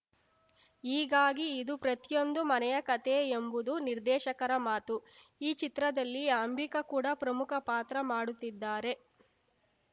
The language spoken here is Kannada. ಹೀಗಾಗಿ ಇದು ಪ್ರತಿಯೊಂದು ಮನೆಯ ಕತೆ ಎಂಬುದು ನಿರ್ದೇಶಕರ ಮಾತು ಈ ಚಿತ್ರದಲ್ಲಿ ಅಂಬಿಕಾ ಕೂಡ ಪ್ರಮುಖ ಪಾತ್ರ ಮಾಡುತ್ತಿದ್ದಾರೆ